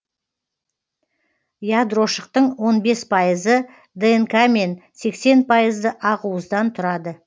ядрошықтың он бес пайызы днк мен сексен пайызы ақуыздан тұрады